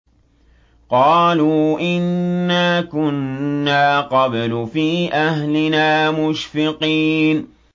قَالُوا إِنَّا كُنَّا قَبْلُ فِي أَهْلِنَا مُشْفِقِينَ